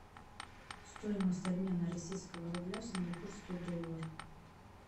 стоимость обмена российского рубля в сингапурский доллар